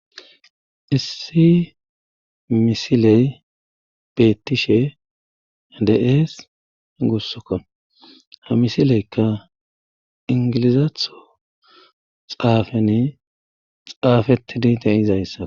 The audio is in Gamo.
Issi misiley beettishe de7ees gussokko ha misileykka ingilizaatho xaafani xaafetidi de izayssa.